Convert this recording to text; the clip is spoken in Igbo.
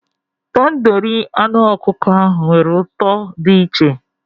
Tandoori anụ ọkụkọ ahụ nwere ụtọ dị iche